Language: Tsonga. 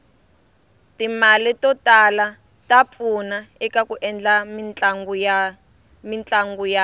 timale totala tapfuna ekaku endla mitlanguyatu